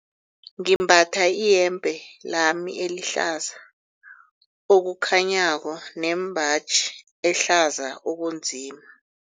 Ngimbatha iyembe lami elihlaza okukhanyako nembaji ehlaza okunzima.